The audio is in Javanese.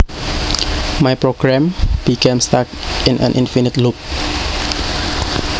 My program became stuck in an infinite loop